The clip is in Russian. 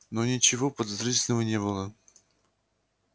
но ничего подозрительного не было